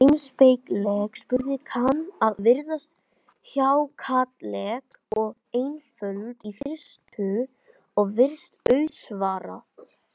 Heimspekileg spurning kann að virðast hjákátleg og einföld í fyrstu, og virst auðsvarað.